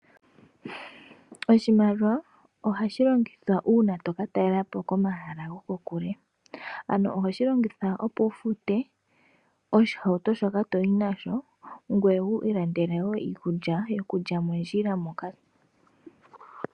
Oshimaliwa ohashi longithwa uuna tokatalela po komahala gokokule, ano ohoshi longitha opo wufute oshihauto shoka toyi nasho ngoye wu ilandele wo iikulya yokulya mondjila moka.